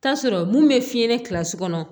Taa sɔrɔ mun be fiɲɛ kilasi kɔnɔ